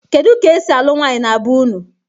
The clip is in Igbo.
kedu ka esi alụ nwanyị na be ụnụ?